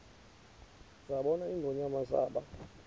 zabona ingonyama zaba